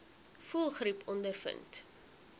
voëlgriep ondervind